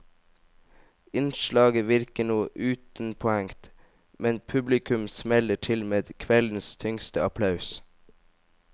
Innslaget virker noe utenpåhengt, men publikum smeller til med kveldens tyngste applaus.